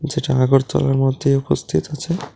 যেটা আগরতলার মধ্যে উপস্থিত আছে।